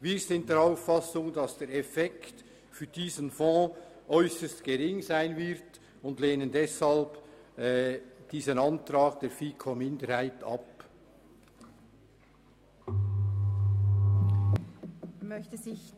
Wir sind der Auffassung, dass der Effekt für diesen Fonds äusserst gering ist und lehnen den Antrag der FiKo-Minderheit deshalb ab.